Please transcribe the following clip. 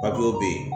be yen